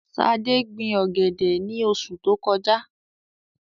Ṣadé gbin ọ̀gẹ̀dẹ̀ ní oṣu tó kọjá.